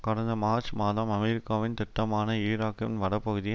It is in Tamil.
கடந்த மார்ச் மாதம் அமெரிக்காவின் திட்டமான ஈராக்கின் வடபகுதியை